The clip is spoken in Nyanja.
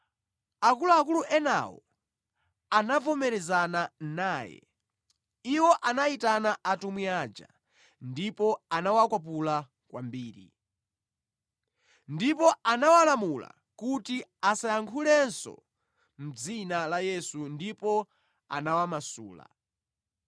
Akuluakulu enawo anavomerezana naye. Iwo anayitana atumwi aja ndipo anawakwapula kwambiri. Ndipo anawalamula kuti asayankhulenso mʼdzina la Yesu ndipo anawamasula.